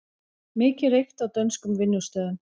Mikið reykt á dönskum vinnustöðum